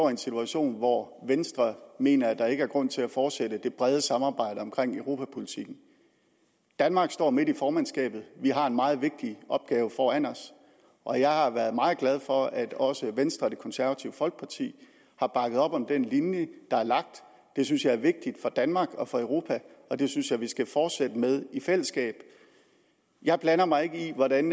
en situation hvor venstre mener at der ikke er grund til at fortsætte det brede samarbejde omkring europapolitikken danmark står midt i formandskabet vi har en meget vigtig opgave foran os og jeg har været meget glad for at også venstre og det konservative folkeparti har bakket op om den linje der er lagt det synes jeg er vigtigt for danmark og for europa og det synes jeg vi skal fortsætte med i fællesskab jeg blander mig ikke i hvordan